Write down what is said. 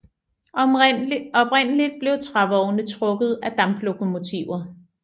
Oprindeligt blev trævogne trukket af damplokomotiver